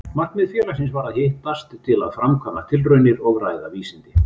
Markmið félagsins var að hittast til að framkvæma tilraunir og ræða vísindi.